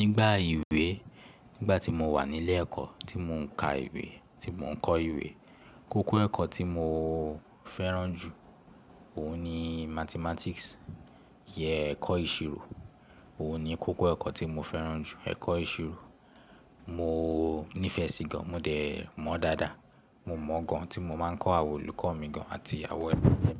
Nígbà ìwé, nígbà tí mo wà nílé ẹ̀kọ́ tí mò ń ka ìwé, tí mò ń kọ́ ìwé, kókó ẹ̀kọ́ tí mò ń fẹ́ràn jù, òun ni Mathematics, ìyẹ́ ẹ̀kọ́ ìṣirò. Òun ni kókó ẹ̀kọ́ tí mo fẹ́ràn jù, ẹ̀kọ́ ìṣirò. Mò nífẹ̀ẹ́ sí i gan, mo dẹ̀ mọ̀ ọ́ dáadáa. Mo mọ̀ ọ́n gan tí mo máa ń kọ́ àwọn olùkọ́ mi gan àti awón egbe mi.